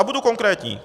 A budu konkrétní.